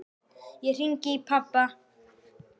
Ég hringi í pabba.